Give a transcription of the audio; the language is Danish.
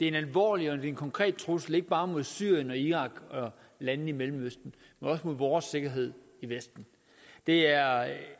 en alvorlig og en konkret trussel ikke bare mod syrien og irak og landene i mellemøsten men også mod vores sikkerhed i vesten det er